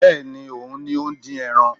Bẹ́ẹ̀ni, òun ni ó ń dín ẹran